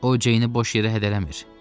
O Ceyni boş yerə hədələmir.